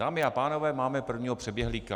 Dámy a pánové, máme prvního přeběhlíka.